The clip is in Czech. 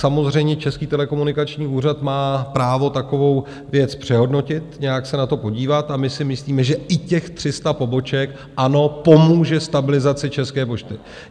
Samozřejmě, Český telekomunikační úřad má právo takovou věc přehodnotit, nějak se na to podívat, a my si myslíme, že i těch 300 poboček ano, pomůže stabilizaci České pošty.